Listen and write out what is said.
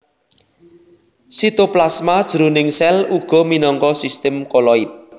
Sitoplasma jroning sèl uga minangka sistem koloid